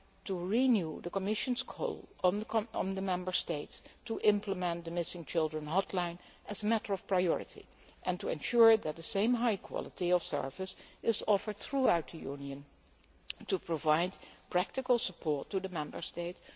to renew the Commission's call on the Member States to implement the missing children hotline as a matter of priority and to ensure that the same high quality of service is offered throughout the Union to provide practical support to the Member States.